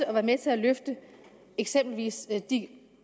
at være med til at løfte eksempelvis de